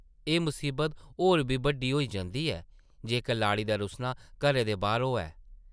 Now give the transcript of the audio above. एह् मसीबत होर बी बड्डी होई जंदी ऐ जेकर लाड़ी दा रुस्सना घरै दे बाह्र होऐ।